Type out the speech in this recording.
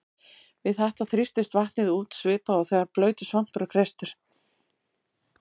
Við þetta þrýstist vatnið út svipað og þegar blautur svampur er kreistur.